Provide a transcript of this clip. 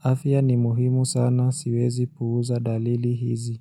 afya ni muhimu sana, siwezi puuza dalili hizi.